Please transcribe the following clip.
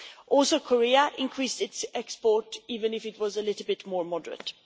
Also, Korea increased its export, even if it was a little bit more moderate.